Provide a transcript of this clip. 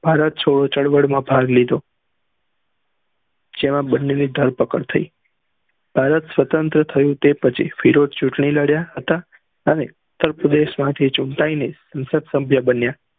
ભારત છોડો છડો માં ભાગ લીધો જેમાં બન્ને ની ધાર પકડ થયી ભારત સ્વંત્ર થયી તે પહચી ફિરોજ ચુટની લડ્યા હતા અને ઉત્તર પ્રદેશ માં થી અને સત સ્ભ્ય્ય બન્યા